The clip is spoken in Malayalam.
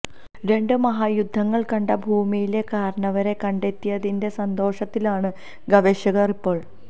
രണ്ട് മഹായുദ്ധങ്ങള് കണ്ട ഭൂമിയിലെ കാരണവരെ കണ്ടെത്തിയതിന്റെ സന്തോഷത്തിലാണ് ഗവേഷകര് ഇപ്പോള്